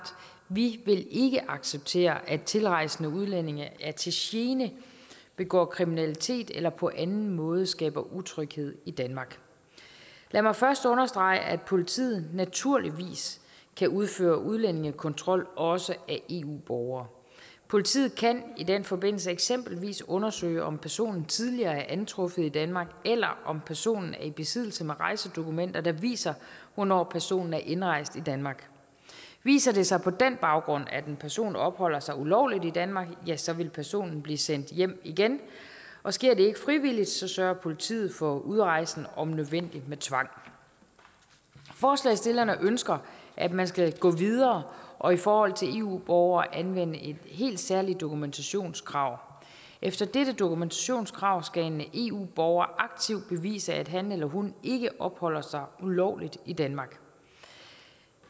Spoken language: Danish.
vi vil ikke acceptere at tilrejsende udlændinge er til gene begår kriminalitet eller på anden måde skaber utryghed i danmark lad mig først understrege at politiet naturligvis kan udføre udlændingekontrol også af eu borgere politiet kan i den forbindelse eksempelvis undersøge om personen tidligere er antruffet i danmark eller om personen er i besiddelse af rejsedokumenter der viser hvornår personen er indrejst i danmark viser det sig på den baggrund at en person opholder sig ulovligt i danmark så vil personen blive sendt hjem igen og sker det ikke frivilligt sørger politiet for udrejsen om nødvendigt med tvang forslagsstillerne ønsker at man skal gå videre og i forhold til eu borgere anvende et helt særligt dokumentationskrav efter dette dokumentationskrav skal en eu borger aktivt bevise at han eller hun ikke opholder sig ulovligt i danmark